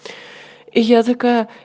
я такая